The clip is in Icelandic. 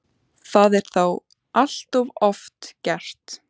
Það er þó allt of oft gert.